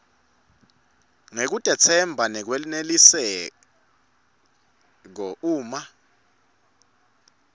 ngekutetsemba lokwenelisako uma